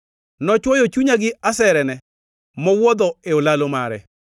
Nochwoyo chunya gi aserene mowuodho e olalo mare.